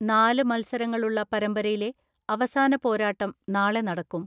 നാല് മൽസരങ്ങളുള്ള പരമ്പരയിലെ അവസാന പോരാട്ടം നാളെ നടക്കും.